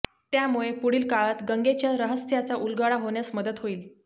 त्यामुळे पुढील काळात गंगेच्या रहस्याचा उलगडा होण्यास मदत होईल